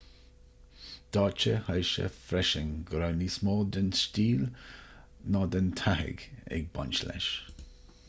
d'áitigh hsieh freisin go raibh níos mó den stíl ná den tathag ag baint leis